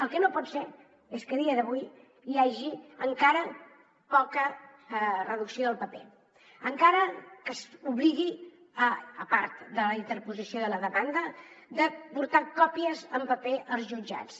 el que no pot ser és que a dia d’avui hi hagi encara poca reducció del paper encara que s’obligui a part de la interposició de la demanda de portar còpies en paper als jutjats